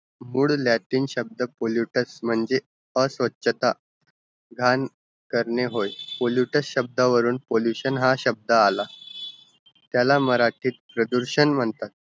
good latin शब्द pollutus म्हणजे अस्वच्छता घांकरने होय pollutus शब्दावरून pollution हा शब्द आला त्याला मराठी प्रदूषण म्हणतात